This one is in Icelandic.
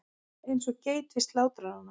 Eins og geit við slátrarann.